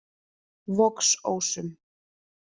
Vogsósum